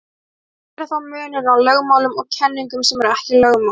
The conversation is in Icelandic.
En hver er þá munurinn á lögmálum og kenningum sem ekki eru lögmál?